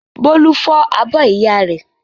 Bólú fọ́ abọ́ ìyá rẹ̀.